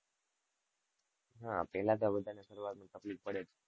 હા પેલા તો બધા ને સરુઆત માં તકલીફ પડે.